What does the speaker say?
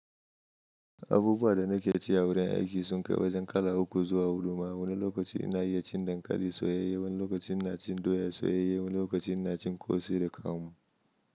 Abubuwa da nake ci a wurin aiki sun kai wajen kala uku zuwa huɗu. Ma wani lokaci ina iya cin dankali soyayye, wani lokacin ina cin doya soyayye, wani lokacin ina cin ƙosai da kamu.